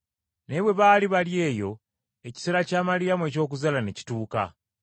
Naye bwe baali bali eyo ekiseera kya Maliyamu eky’okuzaala ne kituuka.